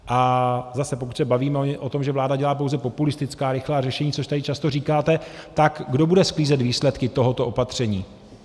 A zase pokud se bavíme o tom, že vláda dělá pouze populistická rychlá řešení, což tady často říkáte, tak kdo bude sklízet výsledky tohoto opatření?